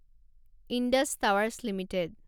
Indus Towers limited